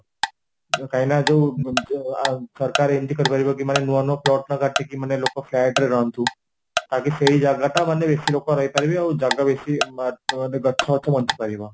କାହିଁ ନା ଯୋଉ ଜ ସରକାର ଏମିତି କରିପାରିବ କି ମାନେ ନୂଆ ନୂଆ plot ନ କାଟିକି ମାନେ ଲୋକ flat ରେ ରହନ୍ତୁ ଆଗ ସେଇ ଜାଗାଟା ମାନେ ବେସିଲୋକ ରହିପରିବେ ଆଉ ଜାଗା ବେଷି ମାନେ ଗଛ ବଞ୍ଚି ପାରିବ